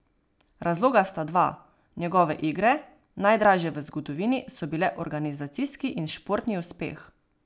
Razloga sta dva, njegove igre, najdražje v zgodovini, so bile organizacijski in športni uspeh.